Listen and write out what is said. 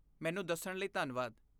ਮੈਨੂੰ ਦੱਸਣ ਲਈ ਧੰਨਵਾਦ।